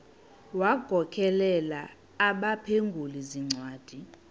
wagokelela abaphengululi zincwadi